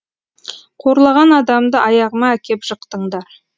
қорлаған адамды аяғыма әкеп жықтыңдар